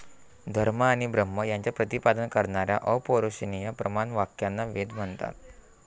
धर्म आणि ब्रह्म यांचे प्रतिपादन करणाऱ्या अपौरुषीय प्रमाण वाक्यांना वेद म्हणतात.